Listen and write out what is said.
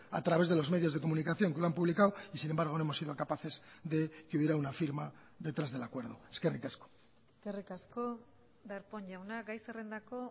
a través de los medios de comunicación que lo han publicado y sin embargo no hemos sido capaces de que hubiera una firma detrás del acuerdo eskerrik asko eskerrik asko darpón jauna gai zerrendako